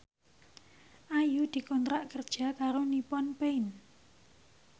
Ayu dikontrak kerja karo Nippon Paint